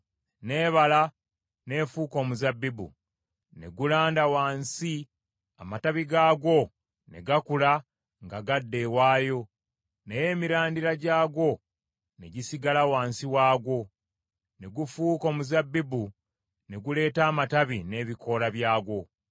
n’ebala n’efuuka omuzabbibu, ne gulanda wansi; amatabi gaagwo ne gakula nga gadda ewaayo, naye emirandira gyagwo ne gisigala wansi waagwo. Ne gufuuka omuzabbibu ne guleeta amatabi n’ebikoola byagwo.’